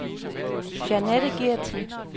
Jeanette Gertsen